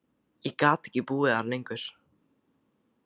Ég gat ekki búið þar lengur.